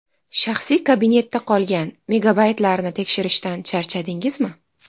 Shaxsiy kabinetda qolgan megabaytlarni tekshirishdan charchadingizmi?